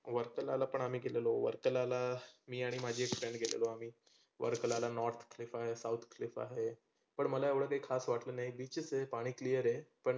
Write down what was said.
वर्कलाला पण आम्ही गेलेलो. वर्कलाला मी आणि माझी एक friend गेलेलो वर्कलाला north clip आहे south clip आहे. पण मला काही एवढ काही खास वाटल नाही beaches आहे पाणि clear आहे. पण